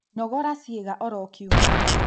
Nogoraga ciĩga oro kiumia